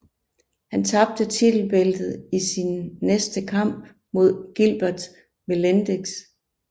Han tabte titelbæltet i sin næste kamp mod Gilbert Melendez